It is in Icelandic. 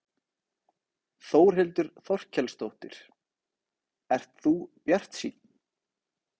Þórhildur Þorkelsdóttir: Ert þú bjartsýnn?